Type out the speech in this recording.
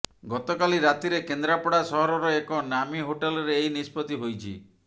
ଗତକାଲି ରାତିରେ କେନ୍ଦ୍ରାପଡା ସହରର ଏକ ନାମୀ ହୋଟେଲରେ ଏହି ନିଷ୍ପତ୍ତି ହୋଇଛି